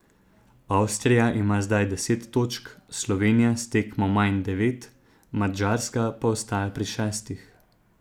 Avstrija ima zdaj deset točk, Slovenija s tekmo manj devet, Madžarska pa ostaja pri šestih.